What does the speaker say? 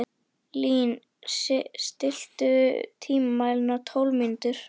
Lín, stilltu tímamælinn á tólf mínútur.